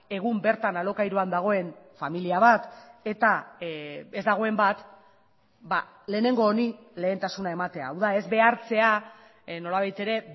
egun bertan alokairuan dagoen familia bat eta ez dagoen bat lehenengo honi lehentasuna ematea hau da ez behartzea nolabait ere